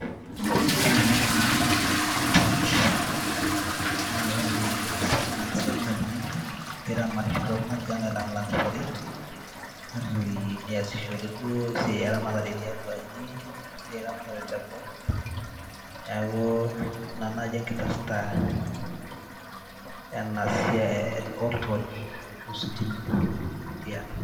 ore ele naa oltosh, naa ore ositima keisaidia oltung'ani metaramatishore tiang' alang'ilang'ishore neasishore duo esiai eramatare tiatuaji esiai eramatare te boo neaku ina naaji enkipirta oltosh ashu ositima tiang'.